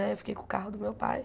Né eu fiquei com o carro do meu pai.